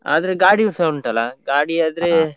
ಆದ್ರೆ ಗಾಡಿವುಸ ಉಂಟಾಲ್ಲ, ಗಾಡಿ ಆದ್ರೆ .